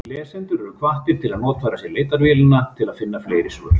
Lesendur eru hvattir til að notfæra sér leitarvélina til að finna fleiri svör.